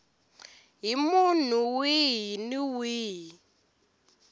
hi munhu wihi ni wihi